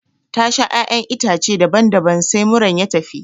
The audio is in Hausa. Ta sha ƴaƴan itace daban daban sai muran ya tafi